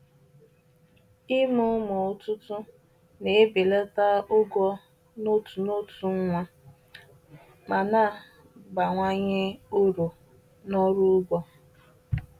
Ịmụ ụmụ ọtụtụ na-ebelata ụgwọ n’otu n’otu nwa ma na-abawanye uru n’ọrụ ugbo